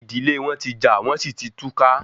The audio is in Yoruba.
Ìdílé wọn tí jà wọn sì tí túká